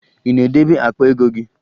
Ị na-edebe akpa ego gị?